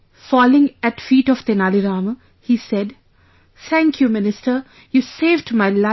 Falling at feet of Tenali Rama, he said, "thank you minister you saved my life